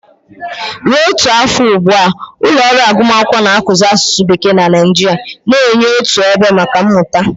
Ruo ọtụtụ afọ ugbu a, ụlọ ọrụ agụmakwụkwọ na-akụzi n'asụsụ Bekee na Nigeria, na-enye otu ebe maka mmụta.